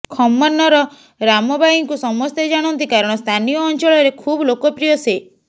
ଖମ୍ମନର ରାମବାଇଙ୍କୁ ସମସ୍ତେ ଜାଣନ୍ତି କାରଣ ସ୍ଥାନୀୟ ଅଂଚଳରେ ଖୁବ୍ ଲୋକପ୍ରିୟ ସେ